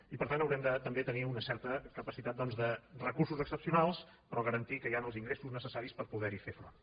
i per tant haurem també de tenir una certa capacitat de recursos excepcionals però garantir que hi han els ingressos necessaris per poder hi fer front